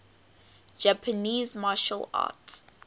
japanese martial arts